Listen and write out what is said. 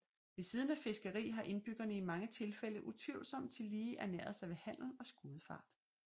Ved siden af fiskeri har indbyggerne i mange tilfælde utvivlsomt tillige ernæret sig ved handel og skudefart